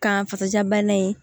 Kan fasaja bana in